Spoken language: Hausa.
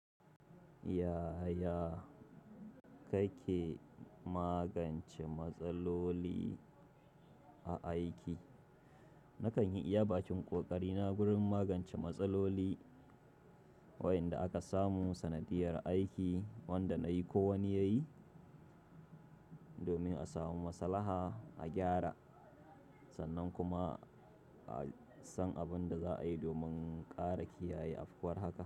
Yaya kake magance matsaloli a aiki? Nakan yi iyabakin ƙoƙari na wurin magance matsaloli wayanda aka samu sanadiyar aiki wanda nayi ko wani yayi domin a samu maslaha a gyara, sannan kuma a san abin da za a yi domin ƙara kiyaye afkuwar haka.